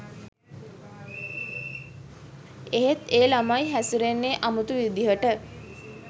එත් ඒ ළමයි හැසිරෙන්නේ අමුතු විදිහට